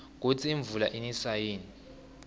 kusi imvula iniswa yini